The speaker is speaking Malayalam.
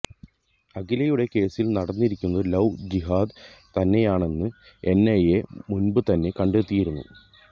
അഖിലയുടെ കേസില് നടന്നിരിക്കുന്നത് ലൌ ജിഹാദ് തന്നെയാന്നെന്ന് എന്ഐഎ മുന്പുതന്നെ കണ്ടെത്തിയിയുന്നു